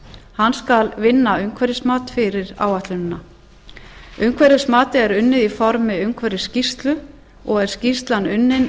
hann skal vinna umhverfismat fyrir áætlunina umhverfismatið er unnið í formi umhverfisskýrslu og er skýrslan unnin